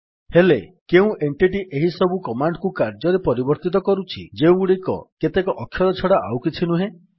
ହେଲେ କେଉଁ ଏଣ୍ଟିଟୀ ଏହିସବୁ କମାଣ୍ଡ୍ କୁ କାର୍ଯ୍ୟରେ ପରିବର୍ତ୍ତିତ କରୁଛି ଯେଉଁଗୁଡ଼ିକ କେତେକ ଅକ୍ଷର ଛଡ଼ା ଆଉକିଛି ନୁହେଁ